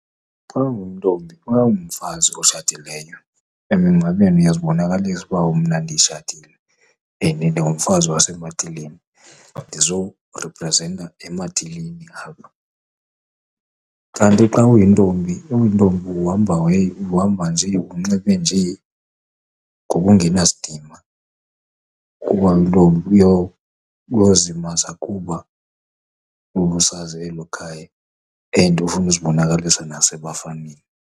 Xa unguntombi, xa ungumfazi otshatileyo emingcwabeni uyazibonakalisa ukuba mna nditshatile and ndingumfazi wasematileni ndizoriprsenta ematileni apha. Kanti xa uyintombi uhamba nje unxibe nje ngokungena sidima kuba uyintombi uyozimasa kuba ubusazi elo khaya and ufuna uzibonakalisa nasebafaneni.